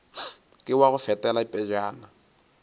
ke wa go fetela pejana